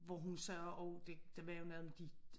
Hvor hun sagde også det der var jo noget med de